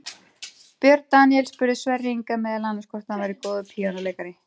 Björn Daníel spurði Sverri Inga meðal annars hvort hann væri góður píanóleikari.